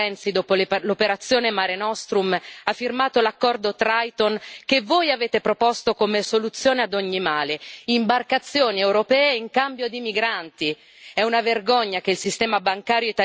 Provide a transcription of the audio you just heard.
È una vergogna scoprire che l'Italia, con Renzi, dopo l'operazione Mare Nostrum ha firmato l'accordo Triton, che voi avete proposto come soluzione ad ogni male imbarcazioni europee in cambio di migranti.